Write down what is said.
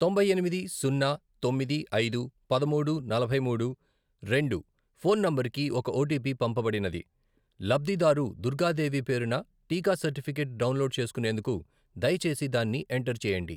తొంభై ఎనిమిది, సున్నా, తొమ్మిది, ఐదు, పదమూడు, నలభై మూడు, రెండు , ఫోన్ నంబరుకి ఒక ఓటీపీ పంపబడినది. లబ్ధిదారు దుర్గా దేవి పేరున టీకా సర్టిఫికేట్ డౌన్లోడ్ చేసుకునేందుకు దయచేసి దాన్ని ఎంటర్ చేయండి.